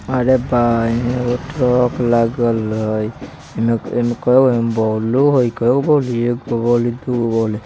अरे भाई एगो ट्रक लागल हई एमे एमे बल्ब हई काइगो बल्ब है? एगो बल्ब दूगो बल्ब |